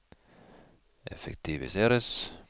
effektiviseres